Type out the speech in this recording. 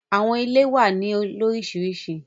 Àwọn ìlẹ̀ wà ní lórisírísí.